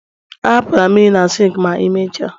ahapụla mmiri na sink ma imecha